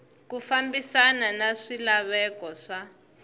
ku fambisana na swilaveko swa